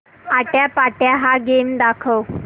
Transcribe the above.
आट्यापाट्या हा गेम दाखव